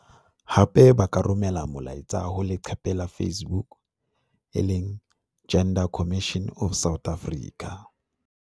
Hape ba ka romela molaetsa ho leqephe la Facebook- Gender Commission of South Africa.